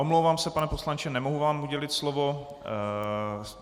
Omlouvám se, pane poslanče, nemohu vám udělit slovo.